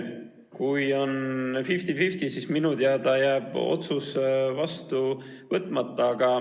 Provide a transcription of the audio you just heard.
Kui on 50 : 50, siis minu teada jääb otsus vastu võtmata.